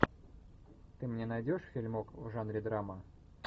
ты мне найдешь фильмок в жанре драма